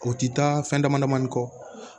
O ti taa fɛn dama dama kɔ